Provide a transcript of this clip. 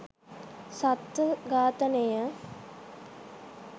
සත්ව ඝාතනය.